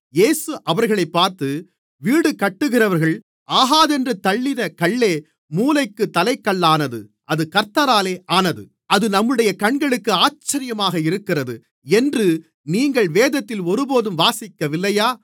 இயேசு அவர்களைப் பார்த்து வீடுகட்டுகிறவர்கள் ஆகாதென்று தள்ளின கல்லே மூலைக்குத் தலைக்கல்லானது அது கர்த்தராலே ஆனது அது நம்முடைய கண்களுக்கு ஆச்சரியமாக இருக்கிறது என்று நீங்கள் வேதத்தில் ஒருபோதும் வாசிக்கவில்லையா